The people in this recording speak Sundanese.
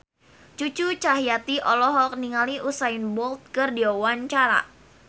Cucu Cahyati olohok ningali Usain Bolt keur diwawancara